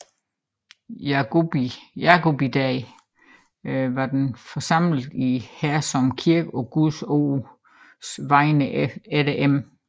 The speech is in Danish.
Jacobi Dag var vi forsamlede i Hersom Kirke på Guds Ords Vegne efter M